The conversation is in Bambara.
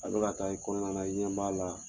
Al bɛ ka taa i kɔnɔna na i ɲɛ b'a la